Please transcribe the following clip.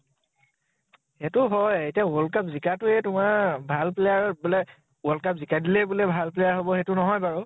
সেইটো হয় । এতিয়া world cup জিকা টোৱে তোমাৰ ভাল player বোলে world cup জিকাই দিলেই বোলে ভাল player হʼব, সেইটো নহয় বাৰু ।